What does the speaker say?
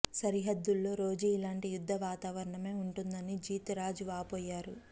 సరిహద్దుల్లో రోజూ ఇలాంటి యుద్ధ వాతావరణమే ఉంటోందని జీత్ రాజ్ వాపోయారు